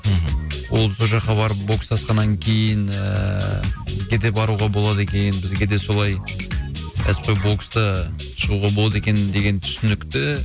мхм ол сол жаққа барып бокстасқаннан кейін ыыы бізге де баруға болады екен бізге де солай кәсіпқой бокста шығуға болады екен деген түсінікті